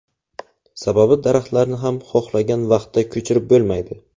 Sababi daraxtlarni ham xohlagan vaqtda ko‘chirib bo‘lmaydi.